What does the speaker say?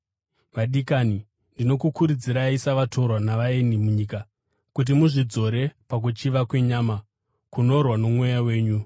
Vadikani, ndinokukurudzirai, savatorwa navaeni munyika, kuti muzvidzore pakuchiva kwenyama, kunorwa nomweya wenyu.